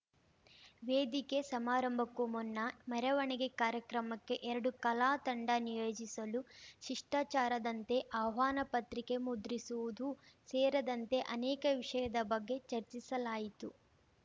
ವೇದಿಕೆ ಸಮಾರಂಭಕ್ಕೂ ಮುನ್ನ ಮೆರವಣಿಗೆ ಕಾರ್ಯಕ್ರಮಕ್ಕೆ ಎರಡು ಕಲಾತಂಡ ನಿಯೋಜಿಸಲು ಶಿಷ್ಟಾಚಾರದಂತೆ ಆಹ್ವಾನ ಪತ್ರಿಕೆ ಮುದ್ರಿಸುವುದೂ ಸೇರದಂತೆ ಅನೇಕ ವಿಷಯದ ಬಗ್ಗೆ ಚರ್ಚಿಸಲಾಯಿತು